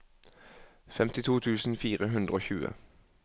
femtito tusen fire hundre og tjue